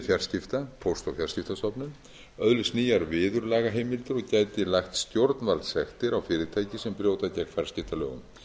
fjarskipta póst og fjarskiptastofnun öðlist nýjar viðurlagaheimildir og gæti lagt stjórnvaldssektir á fyrirtæki sem brjóta gegn fjarskiptalögum